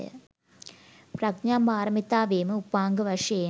ප්‍රඥා පාරමිතාවේම උපාංග වශයෙන්